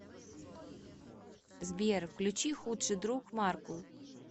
сбер включи худший друг маркул